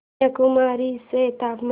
कन्याकुमारी चे तापमान